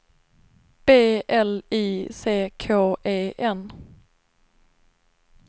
B L I C K E N